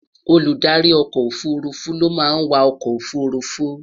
Olùdarí ọkọ òfurufú ló máa ń wà ọkọ òfurufú